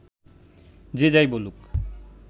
যে যাই বলুক